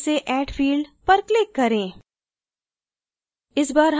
एक बार फिर से add field पर click करें